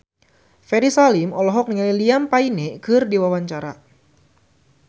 Ferry Salim olohok ningali Liam Payne keur diwawancara